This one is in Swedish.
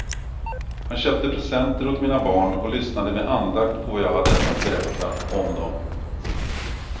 Han köpte presenter åt mina barn och lyssnade med andakt på vad jag hade att berätta om dem.